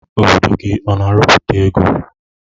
Obodo gi ọna arụputa ego?